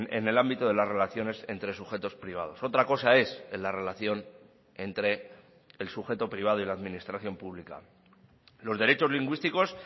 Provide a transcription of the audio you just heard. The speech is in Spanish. en el ámbito de las relaciones entre sujetos privados otra cosa es en la relación entre el sujeto privado y la administración pública los derechos lingüísticos